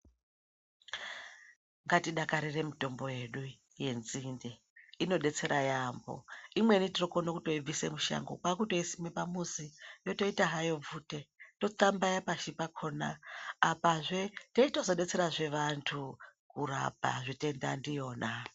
Ngatidakarire mitombo yedu yenzinde inobetsera yaamho. Imweni tinokone kutoibvisa kushango kwakutoisime pamuzi yotoita hayo bvute totambaya pashi pakona, apazve teitozo betserazve vantu kurapa zvitenda ndiyona.